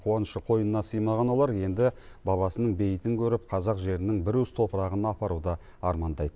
қуанышы қойынына сыймаған олар енді бабасының бейітін көріп қазақ жерінің бір уыс топырағына апаруды армандайды